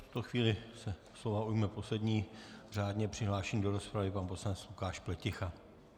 V tuto chvíli se slova ujme poslední řádně přihlášený do rozpravy pan poslanec Lukáš Pleticha.